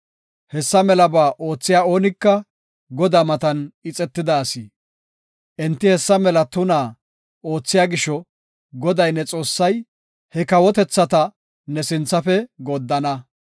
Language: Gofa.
Hessa melaba oothiya oonika Godaa matan ixetida asi. Enti hessa mela tunaa oothiya gisho, Goday ne Xoossay he kawotethata ne sinthafe gooddana.